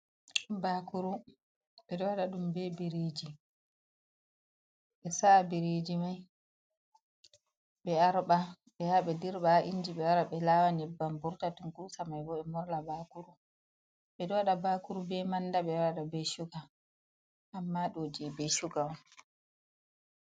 Bakuru ɓe ɗo wada ɗum be biriji ɓe sa'a biriji mai ɓe arɓa ɓe yaha ɓe dirba ha inji be be lawa nyebbam vurta tunkusa mai bo ɓe morla bakuru ɓe ɗo wada bakuru be manda be wada be shuga amma do je be shuga.